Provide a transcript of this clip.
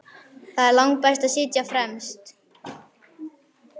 Það er langbest að sitja fremst.